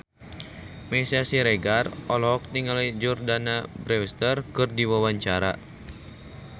Meisya Siregar olohok ningali Jordana Brewster keur diwawancara